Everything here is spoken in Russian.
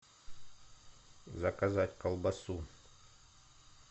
заказать колбасу